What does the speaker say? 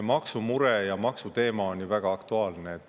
Maksumure ja maksuteema on väga aktuaalne.